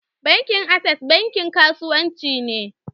Bankin access bankin kasuwanci ne.